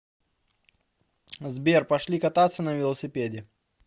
сбер пошли кататься на велосипеде